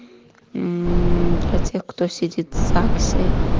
мм для тех кто сидит в загсе